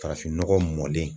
Farafinnɔgɔ mɔnlen.